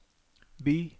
by